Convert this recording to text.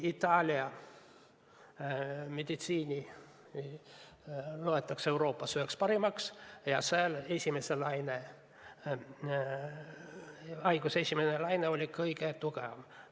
Itaalia meditsiini loetakse Euroopas üheks parimaks ja seal oli haiguse esimene laine kõige tugevam.